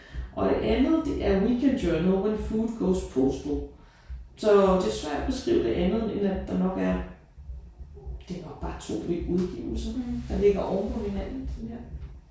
Og det andet det er Weekly Journal when food goes postal. Så det er svært at beskrive det andet end at der nok er det er nok bare 2 udgivelser der ligger oven på hinanden sådan her